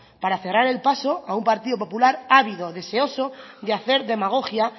para cerrar el paso a un partido popular ávido deseoso de hacer demagogia